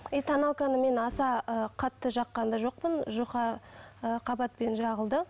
и тоналканы мен аса ы қатты жаққан да жоқпын жұқа ы қабатпен жағылды